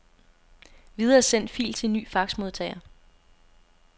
Videresend fil til ny faxmodtager.